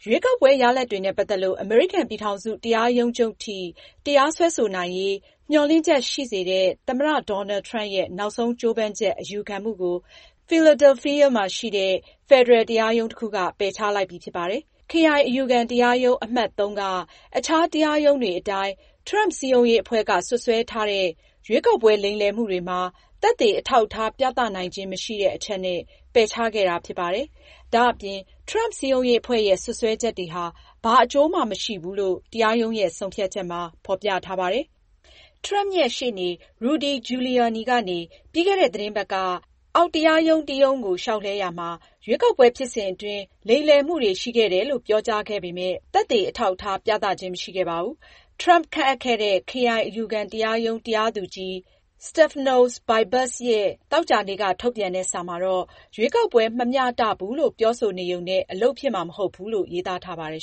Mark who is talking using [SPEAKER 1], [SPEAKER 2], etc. [SPEAKER 1] ရွေးကောက်ပွဲ ရလဒ်တွေနဲ့ ပတ်သက်လို့ အမေရိကန် ပြည်ထောင်စု တရားရုံးချုပ်ထိ တရားစွဲဆိုနိုင်ရေး မျှော်လင့်ချက်ရှိစေတဲ့ သမ္မတ Donald Trump ရဲ့ နောက်ဆုံးကြိုးပမ်းချက် အယူခံမှုကို Philadelphia မှာရှိတဲ့ ဖယ်ဒရယ်တရားရုံးတခုက ပယ်ချလိုက်ပြီဖြစ်ပါတယ်။ Philadelphia မြို့မှာရှိတဲ့ ခရိုင် အယူခံတရားရုံး အမှတ် (၃)က အခြားတရားရုံးတွေအတိုင်း Trump စည်းရုံးရေးအဖွဲ့က စွပ်စွဲထားတဲ့ ရွေးကောက်ပွဲလိမ်လည်မှုတွေမှာ သက်သေအထောက်အထား ပြသနိုင်ခြင်းမရှိဘူးဆိုတဲ့အချက်နဲ့ ပယ်ချခဲ့တာဖြစ်ပါတယ်။ ဒါအပြင် Trump စည်းရုံးရေးအဖွဲ့ရဲ့စွပ်စွဲချက်တွေဟာ ဘာအကျိုးမှ မရှိဘူးလို့ တရားရုံးရဲ့ ဆုံးဖြတ်ချက်မှာ ဖေါ်ပြထားပါတယ်။ Trump ရှေ့နေ Rudy Giuliani ကနေ ပြီးခဲ့တဲ့ သီတင်းပတ်ကအောက်တရားရုံးတရုံးကို လျှောက်လှဲရာမှာရွေးကောက်ပွဲဖြစ်စဉ်အတွင်း လိမ်လည်မှုတွေရှိခဲ့တယ်လို့ ပြောကြားခဲ့ပေမယ့် သက်သေအထောက်အထား ပြသခြင်းမရှိခဲ့ပါဘူး။ Trump ခန့်အပ်ခဲ့တဲ့ ခရိုင်အယူခံတရားရုံး တရားသူကြီး Stephanos Bibas ရဲ့ သောကြာနေ့က ထုတ်ပြန်တဲ့ စာမှာ ရွေးကောက်ပွဲမမျှတဘူးလို့ ပြောဆိုနေရုံနဲ့ အလုပ်ဖြစ်မှာ မဟုတ်ဘူးလို့ ရေးသား
[SPEAKER 2] ထားပါတယ်